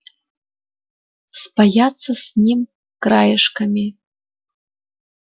спаяться с ним краешками